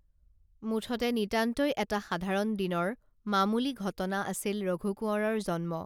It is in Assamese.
মুঠতে নিতান্তই এটা সাধাৰণ দিনৰ মামুলি ঘটনা আছিল ৰঘু কোঁৱৰৰ জন্ম